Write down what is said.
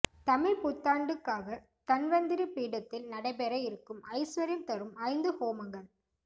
தமிழ்ப்புத்தாண்டுக்காக தன்வந்திரி பீடத்தில் நடைபெற இருக்கும் ஐஸ்வர்யம் தரும் ஐந்து ஹோமங்கள்